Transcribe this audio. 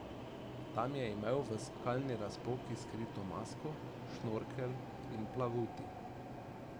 Tam je imel v skalni razpoki skrito masko, šnorkelj in plavuti.